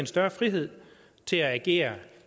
større frihed til at agere